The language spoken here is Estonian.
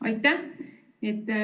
Aitäh!